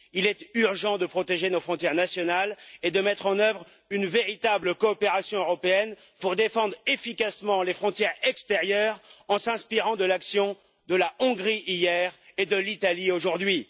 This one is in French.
Il est urgent de protéger nos frontières nationales et de mettre en œuvre une véritable coopération européenne pour défendre efficacement les frontières extérieures en s'inspirant de l'action de la Hongrie hier et de l'Italie aujourd'hui.